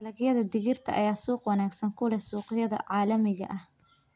Dalagyada digirta ayaa suuq wanaagsan ku leh suuqyada caalamiga ah.